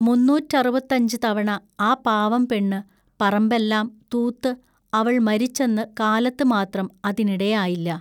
മുന്നൂറ്ററുപത്തഞ്ചു തവണ ആ പാവം പെണ്ണു പറമ്പെല്ലാം തൂത്തു അവൾ മരിച്ചന്നു കാലത്തു മാത്രം അതിനിടയായില്ല.